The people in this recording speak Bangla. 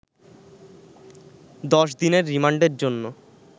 ১০ দিনের রিমান্ডের জন্য